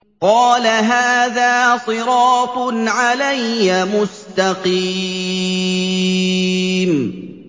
قَالَ هَٰذَا صِرَاطٌ عَلَيَّ مُسْتَقِيمٌ